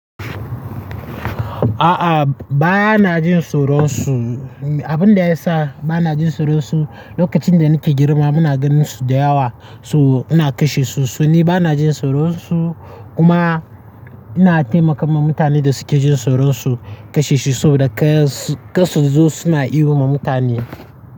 A'a ba ana jin soro su. Abun da ya sa ba ana jin soro su lokacin da nake girma muna ganin su da yawa so ana kashe su. Soni ba ana jin soro su kuma ina taimakawa mutanen da suke jin soro su kashe su saboda ƙasasu dosu suna ihu ma mutane.